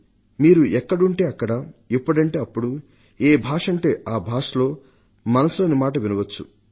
మీరు ఎక్కడుంటే అక్కడ ఎప్పుడంటే అప్పుడు ఏ భాషలో అంటే ఆ భాషలో మన్ కీ బాత్ మనసు లోని మాట కార్యక్రమాన్ని వినవచ్చు